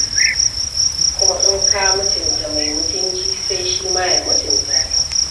Kuma in ka mutunta mai mutunci, sai shi ma ya mutunta ka.